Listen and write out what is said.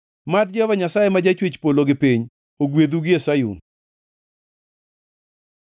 Mad Jehova Nyasaye ma jachwech polo gi piny, ogwedhu gie Sayun.